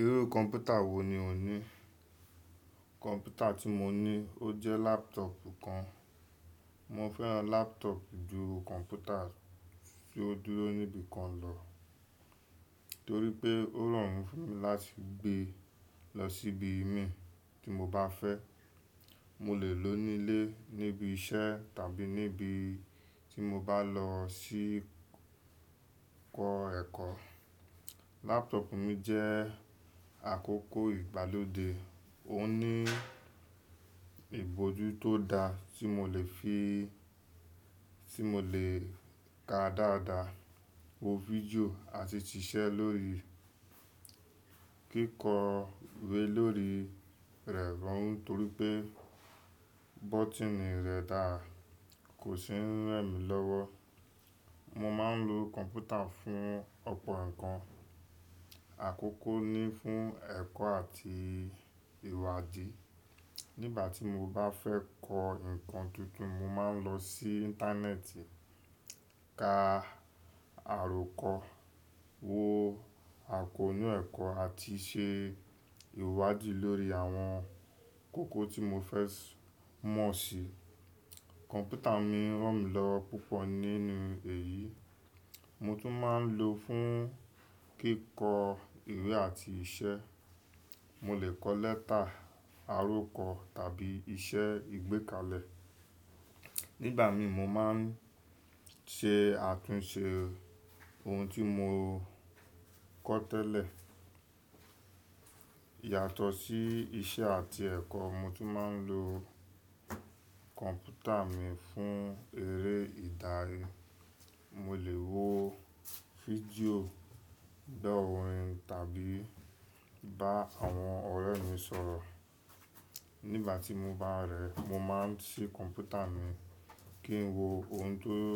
Irú kọ̀mpútà wò ní o ní? Kọ̀mpútà tí mo ní ó jẹ́ laptop kan. Mo fẹ́ràn laptop ju kọ̀mpútà tó dúró níbi kan lọ, torí pé ó rọrùn fún mi láti gbé lọ síbi mí tí mo bá fẹ́. Mo lè lò ó nílé, níbi iṣẹ́ tàbí níbi tí mo bá lọ sí kọ́ ẹ̀kọ́. Laptop mi jẹ́ àkókò ìgbàlódé, ó ní ibojú tó da tí mo lè fi, tí mo lè ka dáadáa, wo fídíò àti ṣiṣẹ́ lórí kíkọ we lórí rẹ̀ tán torí pé bọ́tíìnì rẹ̀ dára, kò ṣe ń rẹ̀ mí lọ́wọ́. Mo máa ń lo kọ̀mpútà fún ọ̀pọ̀ ǹkan. Àkókò ni fún ẹ̀kọ́ àti ìwádìí. Nígbà tí mo bá fẹ́ kọ́ ǹkan tuntun, mo máa ń lọ sí Íńtánẹ́ẹ̀tì, ka àròkọ, wo àkóónú ẹ̀kọ́ àti ṣe ìwádìí lórí àwọn kókó tí mo fẹ́ mọ̀ sí. Kọ̀mpútà mi ràn mí lọ́wọ́ púpọ̀ nínú èyí. Mo tún máa ń lò ó fún kíkọ ìwé àti iṣẹ́. Mo lè kọ lẹ́tà, àròkọ tàbí iṣẹ́ ìgbékalẹ̀. Nígbà mi mo máa ń ṣe àtúnṣe ohun tí mo kọ́ tẹ́lẹ̀. Yàtọ̀ sí iṣẹ́ àti ẹ̀kọ́, mo tún máa ń lo kọ̀mpútà mi fún eré ìdarí. Mo lè wo fídíò, gbo orin tàbí bá àwọn ọ̀rẹ́ mi sọ̀rọ̀. Nígbà tí mo bá rẹ̀ ẹ́, mo máa ń ṣí kọ̀mpútà mi kí n wo ohun tí ó,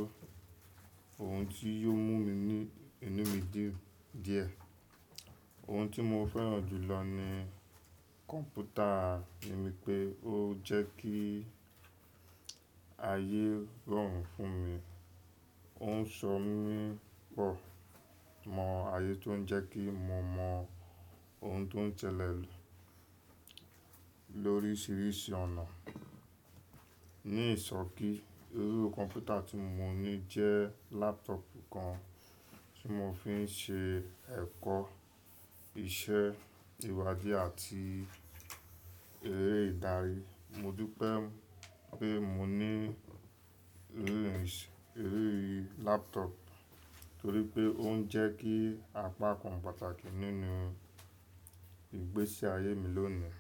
ohun tí yóò mú mi ní, inú mi dí díẹ̀. Ohun tí mo fẹ́ràn jù lọ ní kọ̀mpútà mi pe ó jẹ́ kí ayé rọrùn fún mi. Ó ń sọ mí pọ̀ mọ̀ ayé tó ń jẹ́ kí mo mọ ohun tó ń ṣẹlẹ̀ lórí ṣíríṣìí ọ̀nà. Ní ìsokí, irú kọ̀mpútà tí mo ní jẹ́ laptop kan tí mo fi ń ṣe ẹ̀kọ́, iṣẹ́, ìwádìí àti eré ìdarí. Mo dúpẹ́ pé mo ní irú ìṣ, irú laptop torí pé ó ń jẹ́ kí apá kan pàtàkì nínú ìgbésí ayé mi lónìí.